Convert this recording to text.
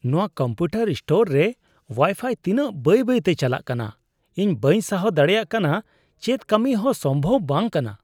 ᱱᱚᱶᱟ computer store ᱨᱮ wifi ᱛᱤᱱᱟᱹᱜ ᱵᱟᱹᱭ ᱵᱟᱹᱭᱛᱮ ᱪᱟᱞᱟᱜ ᱠᱟᱱᱟ ᱤᱧ ᱵᱟᱹᱧ ᱥᱟᱦᱟᱣ ᱫᱟᱲᱮᱭᱟᱜ ᱠᱟᱱᱟ ᱾ ᱪᱮᱫ ᱠᱟᱹᱢᱤ ᱦᱚᱸ ᱥᱚᱢᱵᱷᱚᱵ ᱵᱟᱝ ᱠᱟᱱᱟ ᱾